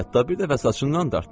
Hətta bir dəfə saçından dartdı.